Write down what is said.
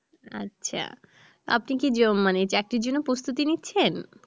আচ্ছা আপনি কি চাকরির জন্য প্রস্তুতি নিচ্ছেন?